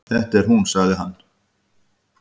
Þetta er hún sagði hann.